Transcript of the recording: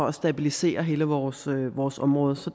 at stabilisere hele vores vores område så